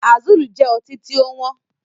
Azul jẹ ọtí tí ó wọn